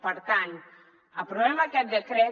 per tant aprovem aquest decret